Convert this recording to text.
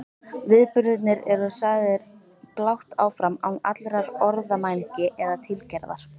Viðburðirnir eru sagðir blátt áfram án allrar orðamælgi eða tilgerðar.